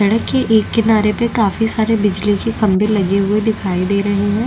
सड़क के एक किनारे पे काफी सारे बिजली के खम्बे लगे हुई दिखाई दे रहे है।